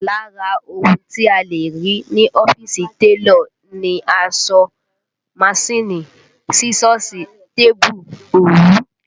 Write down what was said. Lára ohun tí a lè rí ní ọ́fíìsì télọ̀ ni aṣọ, manṣíìnì, sísọ́ọ̀sì, tébù, òwú